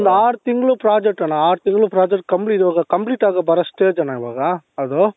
ಒಂದ್ ಆರು ತಿಂಗಳು project ಅಣ್ಣ ಆರು ತಿಂಗಳು project compli complete ಅಗೋ ಬರೋ stage ಅಣ್ಣ ಈವಾಗ ಅದು